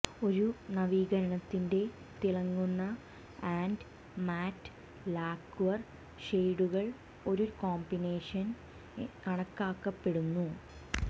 ഒരു നവീകരണത്തിന്റെ തിളങ്ങുന്ന ആൻഡ് മാറ്റ് ലാക്വർ ഷേഡുകൾ ഒരു കോമ്പിനേഷൻ കണക്കാക്കപ്പെടുന്നു